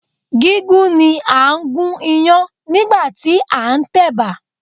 Gígún ni à ń gún Iyán nígbàtí a ń tẹ̀bà